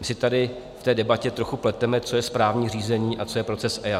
My si tady v té debatě trochu pleteme, co je správní řízení a co je proces EIA.